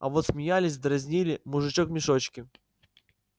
а вот смеялись дразнили мужичок в мешочке